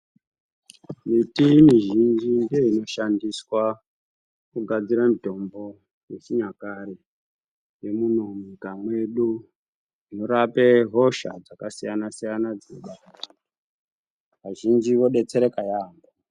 Miti mizhinji ndiyo inoshandiswa kugadzira mitombo yechinyakare yemuno munyika medu inorape hosha dzakasiyana siyana dzinobata vantu vazhinji vobetsereka yaamho.